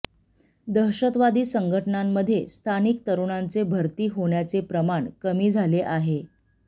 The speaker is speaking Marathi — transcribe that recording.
दहशतवादी संघटनांमध्ये स्थानिक तरुणांचे भरती होण्याचे प्रमाण कमी झाले आहे